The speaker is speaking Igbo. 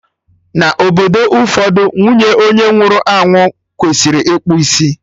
Na obodo ụfọdụ, nwunye onye nwụrụ anwụ kwesịrị ịkpụ isi